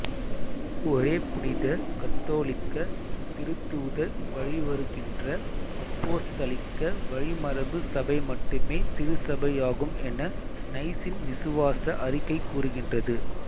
ஒரே புனித கத்தோலிக்க திருத்தூதர் வழிவருகின்ற அப்போஸ்தலிக்க வழிமரபு சபை மட்டுமே திருச்சபையாகும் என நைசின் விசுவாச அறிக்கை கூறுகின்றது